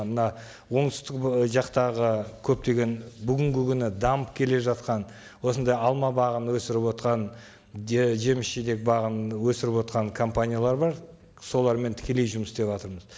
мына оңтүстік жақтағы көптеген бүгінгі күні дамып келе жатқан осындай алма бағын өсіріп отырған жеміс жидек бағын өсіріп отырған компаниялар бар солармен тікелей жұмыс істеватырмыз